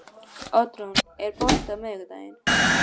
Oddrún, er bolti á miðvikudaginn?